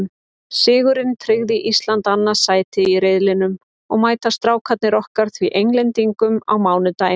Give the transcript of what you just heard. Sigurinn tryggði Íslandi annað sætið í riðlinum og mæta Strákarnir okkar því Englendingum á mánudaginn.